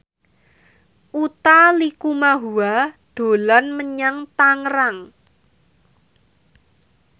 Utha Likumahua dolan menyang Tangerang